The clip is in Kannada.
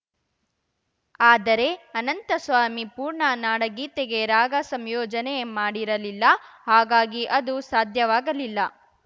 ಆದರೆ ಅನಂತಸ್ವಾಮಿ ಪೂರ್ಣ ನಾಡಗೀತೆಗೆ ರಾಗ ಸಂಯೋಜನೆ ಮಾಡಿರಲಿಲ್ಲ ಹಾಗಾಗಿ ಅದು ಸಾಧ್ಯವಾಗಲಿಲ್ಲ